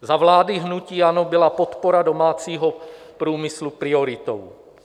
Za vlády hnutí ANO byla podpora domácího průmyslu prioritou.